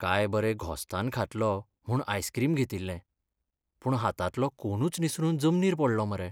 काय बरें घोस्तान खातलों म्हूण आयस्क्रीम घेतिल्लें, पूण हातांतलो कोनूच निसरून जमनीर पडलो मरे.